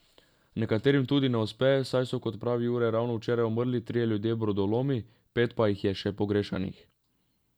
Nekaterim tudi ne uspe, saj so, kot pravi Jure, ravno včeraj umrli trije ljudje brodolomi, pet pa jih je še pogrešanih.